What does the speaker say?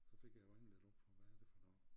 Så fik jeg jo øjnene lidt op for hvad er det for noget